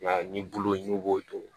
I m'a ye ni bulu ɲu b'o to